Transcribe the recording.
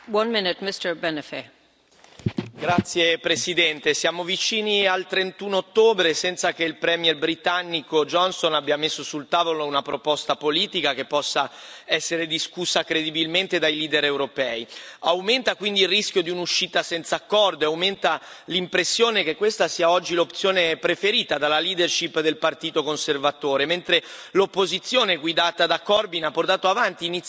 Signora Presidente, onorevoli colleghi, siamo vicini al 31 ottobre senza che il premier britannico Johnson abbia messo sul tavolo una proposta politica che possa essere discussa credibilmente dai leader europei. Aumenta quindi il rischio di un'uscita senza accordo e aumenta l'impressione che questa sia oggi l'opzione preferita dalla leadership del partito conservatore, mentre l'opposizione guidata da Corbyn ha portato avanti